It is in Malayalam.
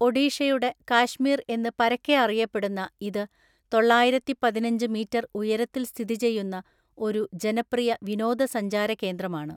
ഒഡീഷയുടെ കാശ്മീർ എന്ന് പരക്കെ അറിയപ്പെടുന്ന ഇത് തൊള്ളായിരത്തിപതിനഞ്ച് മീറ്റർ ഉയരത്തിൽ സ്ഥിതി ചെയ്യുന്ന ഒരു ജനപ്രിയ വിനോദസഞ്ചാര കേന്ദ്രമാണ്.